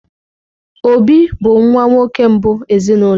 Obi bụ nwa nwoke mbụ ezinụlọ.